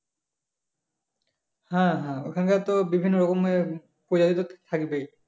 হ্যাঁ হ্যাঁ ওখানকার তো বিভিন্ন রঙের প্রজাপতি তো থাকবে